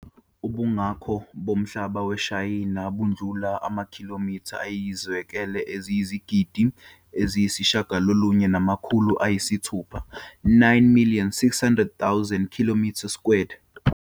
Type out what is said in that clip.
Ubungakho bomhlaba weShayina bundlula amakhilomitha ayizikwele eziyizigidi eziyisishiyagalolunye namakhulu ayisithupha, 9 600 000 km squared.